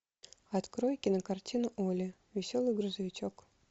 открой кинокартину олли веселый грузовичок